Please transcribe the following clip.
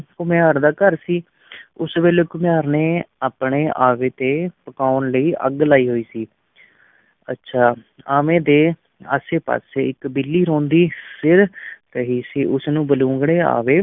ਘੁਮਿਆਰ ਦਾ ਘਰ ਸੀ ਉਸੇ ਵੇਲੇ ਘੁਮਿਆਰ ਨੇ ਆਪਣੇ ਆਵੇ ਤੇ ਪਕਾਉਣ ਲਈ ਅੱਗ ਲਾਈ ਹੋਈ ਸੀ ਅੱਛਾ ਆਵੇ ਦੇ ਆਸੇ-ਪਾਸੇ ਇੱਕ ਬਿੱਲੀ ਰੋਂਦੀ ਫਿਰ ਰਹੀ ਸੀ, ਉਸਨੂੰ ਬਲੂੰਗੜੇ ਆਵੇ